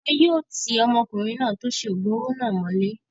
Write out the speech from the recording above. Wọn yóò ti ọkùnrin náà tó ṣe oògùn owó náà mọ́lé